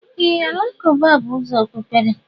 Ee, alakụba bú ụzọ Okpụkpere.